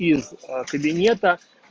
из кабинета